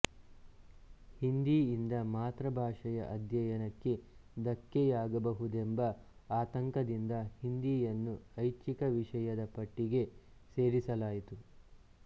ಹಿಂದೀಯಿಂದ ಮಾತೃಭಾಷೆಯ ಅಧ್ಯಯನಕ್ಕೆ ಧಕ್ಕೆಯಾಗಬಹುದೆಂಬ ಆತಂಕದಿಂದ ಹಿಂದೀಯನ್ನು ಐಚ್ಫಿಕ ವಿಷಯದ ಪಟ್ಟಿಗೆ ಸೇರಿಸಲಾಯಿತು